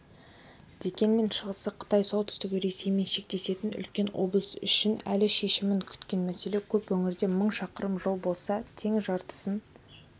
дегенмен шығысы қытай солтүстігі ресеймен шектесетін үлкен облыс үшін әлі шешімін күткен мәселе көп өңірде мың шақырым жол болса тең жартысын